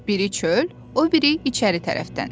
Biri çöl, o biri içəri tərəfdən.